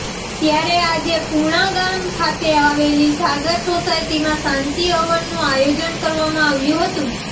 ત્યારે આજે પુણા ગામ ખાતે આવેલી સાગર સોસાયટીમાં શાંતિ હવનનું આયોજન કરવામાં આવ્યું હતું